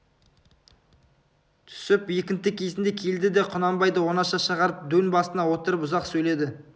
түсіп екінті кезінде келді де құнанбайды оңаша шығарып дөң басына отырып ұзақ сөйледі